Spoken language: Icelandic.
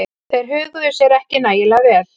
Þeir höguðu sér ekki nægilega vel.